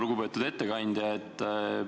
Lugupeetud ettekandja!